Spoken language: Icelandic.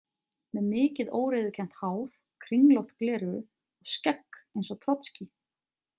Með mikið óreiðukennt hár, kringlótt gleraugu og skegg eins og Trotskí.